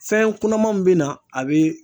Fɛn kunamanw bɛ na a bɛ